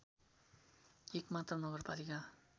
एक मात्र नगरपालिका